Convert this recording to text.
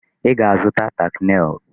Ị ga-azụta tack nail!